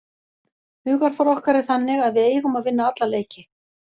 Hugarfar okkar er þannig að við eigum að vinna alla leiki.